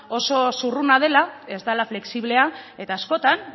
oso zurruna dela ez dela flexiblea eta askotan